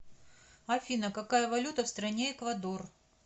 афина какая валюта в стране эквадор